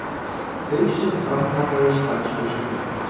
Hausinn framkallaði stanslausar myndir.